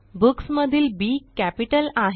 Booksमधील B capital आहे